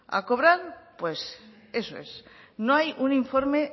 a cobrar pues eso es no hay un informe